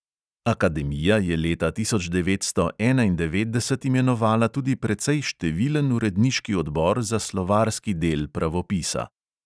Akademija je leta tisoč devetsto enaindevetdeset imenovala tudi precej številen uredniški odbor za slovarski del pravopisa.